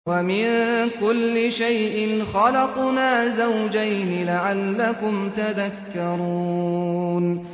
وَمِن كُلِّ شَيْءٍ خَلَقْنَا زَوْجَيْنِ لَعَلَّكُمْ تَذَكَّرُونَ